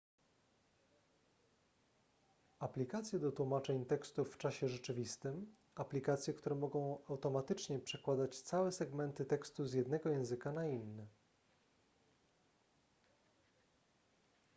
aplikacje do tłumaczeń tekstów w czasie rzeczywistym aplikacje które mogą automatycznie przekładać całe segmenty tekstu z jednego języka na inny